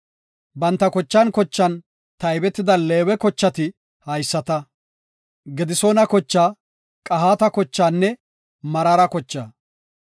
Banta zerthan zerthan taybetida Leewe kochati haysata; Gedisoona kochaa, Qahaata kochaanne Meraara kochaa.